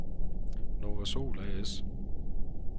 Novasol A/S